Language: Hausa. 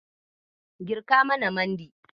Girka mana mandi.